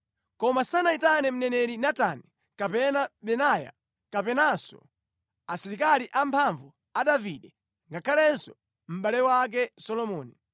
koma sanayitane mneneri Natani kapena Benaya kapenanso asilikali amphamvu a Davide ngakhalenso mʼbale wake Solomoni.